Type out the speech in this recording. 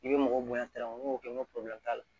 I bɛ mɔgɔ bonya n'o kɛ n ko t'a la